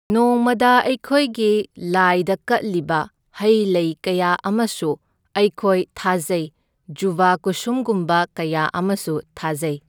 ꯅꯣꯡꯃꯗ ꯑꯩꯈꯣꯏꯒꯤ ꯂꯥꯏꯗ ꯀꯠꯂꯤꯕ ꯍꯩ ꯂꯩ ꯀꯌꯥ ꯑꯃꯁꯨ ꯑꯩꯈꯣꯏ ꯊꯥꯖꯩ, ꯖꯨꯕꯥ ꯀꯨꯁꯨꯝꯒꯨꯝꯕ ꯀꯌꯥ ꯑꯃꯁꯨ ꯊꯥꯖꯩ꯫